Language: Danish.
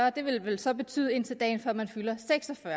og det vil vel så betyde indtil dagen før man fylder seks og fyrre